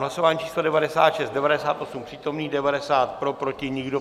Hlasování číslo 96, 98 přítomných, 90 pro, proti nikdo.